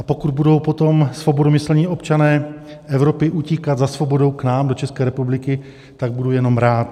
A pokud budou potom svobodomyslní občané Evropy utíkat za svobodou k nám do České republiky, tak budu jenom rád.